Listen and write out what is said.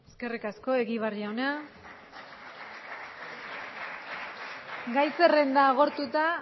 eskerrik asko egibar jauna gai zerrenda agortuta